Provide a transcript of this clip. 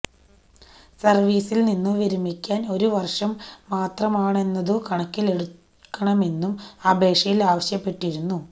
സർവീസിൽ നിന്നു വിരമിക്കാൻ ഒരു വർഷം മാത്രമാണെന്നതു കണക്കിലെടുക്കണമെന്നും അപേക്ഷയിൽ ആവശ്യപ്പെട്ടിരുന്നു